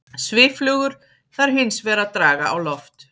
Svifflugur þarf hins vegar að draga á loft.